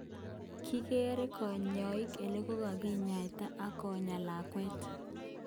Kerei kanyoik olekakikoten ak konyaa lakwet.